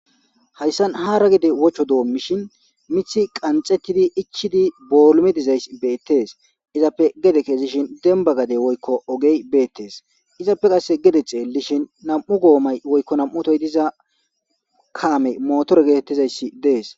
Hayssan hara gide wocho doommishin mithi qanxettidi ichidi boolmi dizays beettes. Izappe gede keezishin demba gade woykko ogey beettees izappe qasse gede xeelishin nam7u goomay woykko nam7utoy diza kaamey motore geetettizayssi dees.